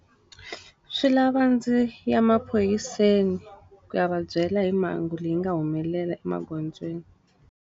Swi lava ndzi ya maphoriseni ku ya va byela hi mhangu leyi nga humelela emagondzweni.